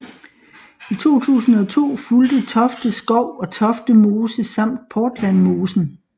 I 2002 fulgte Tofte Skov og Tofte Mose samt Portlandmosen